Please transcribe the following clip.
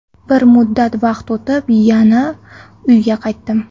Bir muddat vaqt o‘tib, yana uyga qaytdim.